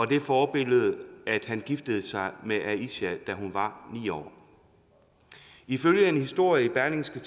det forbillede at han giftede sig med aisha da hun var ni år ifølge en historie i berlingske